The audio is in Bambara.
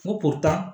Ko